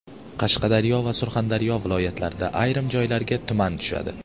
Qashqadaryo va Surxondaryo viloyatlarida ayrim joylarga tuman tushadi.